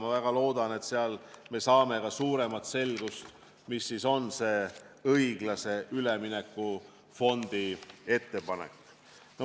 Ma väga loodan, et sealt me saame ka suuremat selgust, mis siis on õiglase ülemineku fondi ettepanek.